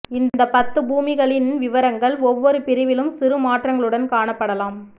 இந்த பத்து பூமிகளின் விவரங்கள் ஒவ்வொரு பிரிவிலும் சிறு மாற்றங்களுடன் காணப்படலாம்